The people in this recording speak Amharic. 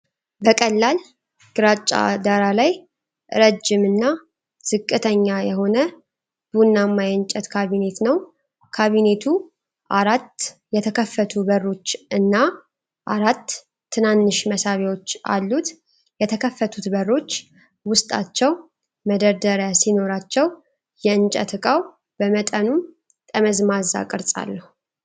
በቀላል ግራጫ ዳራ ላይ፣ ረጅም እና ዝቅተኛ የሆነ ቡናማ የእንጨት ካቢኔት ነው። ካቢኔቱ አራት የተከፈቱ በሮች እና አራት ትናንሽ መሳቢያዎች አሉት። የተከፈቱት በሮች ውስጣቸው መደርደሪያ ሲኖራቸው፣ የእንጨት እቃው በመጠኑም ጠመዝማዛ ቅርፅ አለው።